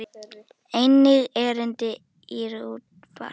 Einnig erindi í útvarp.